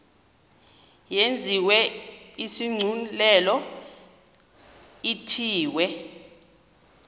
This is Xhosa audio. yenziwe isigculelo ithiwe